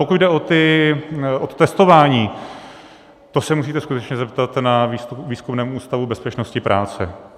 Pokud jde o to testování, to se musíte skutečně zeptat na Výzkumném ústavu bezpečnosti práce.